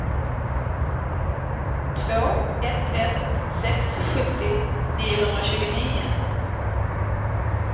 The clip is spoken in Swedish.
två ett ett sex sjuttio niohundratjugonio